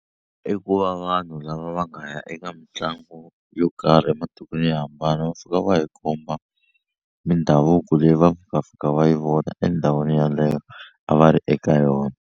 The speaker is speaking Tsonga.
I ku va vanhu lava va nga ya eka mitlangu yo karhi ematikweni yo hambana va fika va hi komba mindhavuko leyi va nga fika va yi vona endhawini yeleyo a va ri eka yona.